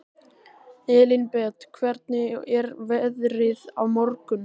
Elínbet, hvernig er veðrið á morgun?